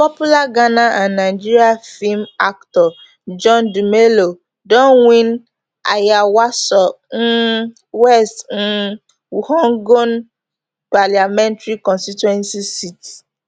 popular ghana and nigeria feem actor john dumelo don win ayawaso um west um wuogon parliamentary constituency seat